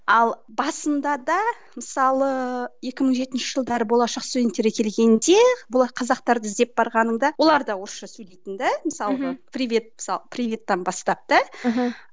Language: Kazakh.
ал басында да мысалы екі мың жетінші жылдары болашақ студенттері келгенде қазақтарды іздеп барғанымда олар да орысша сөйлейтін де мысалға мхм привет мысалы приветтен бастап да мхм